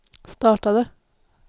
startade